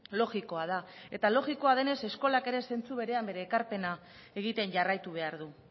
logikoa da eta logikoa denez eskolak ere zentzu berean bere ekarpena egiten jarraitu behar du